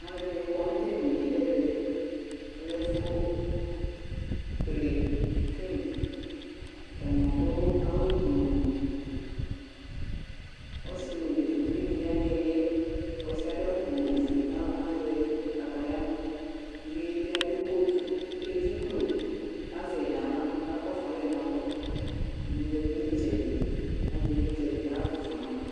Alʋɛdɩnɩ kɔ nʋ tʋ edini yɛ nʋ ɛvɛ Ɔlɛ ɛfʋkele film Atanɩ adʋ awʋgblu Ɔsɩ nʋ de uvi dɩ ya nʋ ɩɩlɩ yɛ Ɔsɩ yɛ adʋ awʋgblu ofue kʋ azɛ kataya kʋ uvi yɛ bɩ adʋ kotu Edziklo kʋ azɛ yɩ nʋ aɣla kʋ akakɔsʋ alɛ nʋ alɔ Ɛdɩnɩ zati nʋ ɩtsɛdɩ kʋ azɛ ɩvlɩtsɛ kʋ ɔkakɔsʋ ma